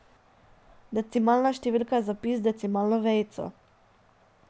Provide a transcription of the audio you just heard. Decimalna številka je zapis z decimalno vejico.